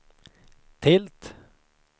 tilt